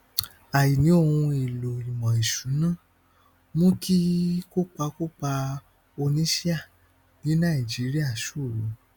àìní ohun èlò ìmọ ìṣúná mú kí kópa kópa oníṣíà ní nàìjíríà ṣòro